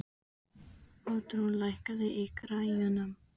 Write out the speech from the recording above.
Oddrún, lækkaðu í græjunum.